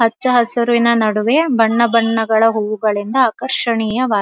ಹಚ್ಚ ಹಸುರಿನ ನಡುವೆ ಬಣ್ಣ ಬಣ್ಣಗಳ ಹೂವುಗಳಿಂದ ಆಕರ್ಷಣೀಯವಾಗಿದೆ.